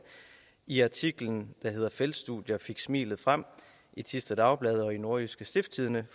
i artiklen feltstudier fik smilet frem i thisted dagbladnordjyske stiftstidende